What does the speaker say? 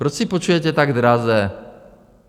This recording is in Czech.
Proč si půjčujete tak draze?